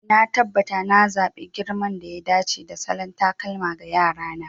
Na tabbata na zaɓi girman da ya dace da salon takalma ga Yara na.